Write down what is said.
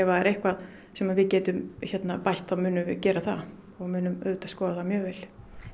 það er eitthvað sem við getum bætt þá munum við gera það og munum auðvitað skoða það mjög vel